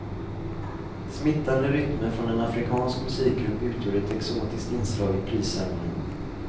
Smittande rytmer från en afrikansk musikgrupp utgjorde ett exotiskt inslag i prisceremonin.